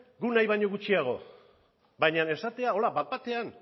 guk nahi baino gutxiago baina esatea hola bat batean